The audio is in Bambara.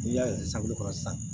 N'i y'a ye sasukolo kɔrɔ sisan